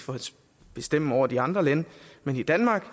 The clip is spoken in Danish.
bestemme over de andre lande men i danmark